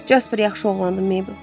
Jasper yaxşı oğlandı, Mabel.